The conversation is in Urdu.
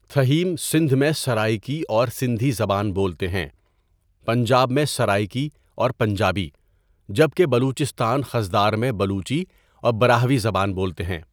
تھہیم سندھ میں سرائکی اور سندھی زبان بولتے ہیں، پنجاب میں سرائکی اور پنجابی، جبکہ بلوچستان خضدار میں بلوچی اور براہوی زبان بولتے ہیں.